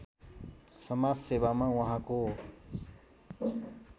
समाजसेवामा उहाँको